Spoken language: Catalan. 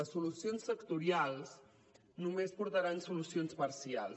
les solucions sectorials només portaran solucions parcials